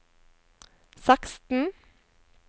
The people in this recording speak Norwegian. seksten